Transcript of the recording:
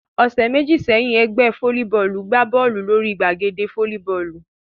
Ọ̀sẹ̀ méjì sẹ́yìn, ẹgbẹ́ fólíbọọlù gbá Bọ́ọ̀lù lórí gbàgede fólíbọọlù